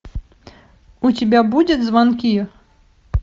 у тебя будет звонки